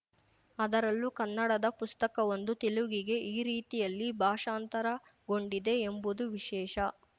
ಅದರಲ್ಲೂ ಕನ್ನಡದ ಪುಸ್ತಕವೊಂದು ತೆಲುಗಿಗೆ ಈ ರೀತಿಯಲ್ಲಿ ಭಾಷಾಂತರಗೊಂಡಿದೆ ಎಂಬುದು ವಿಶೇಷ